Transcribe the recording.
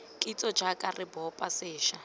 kitso jaaka re bopa sešwa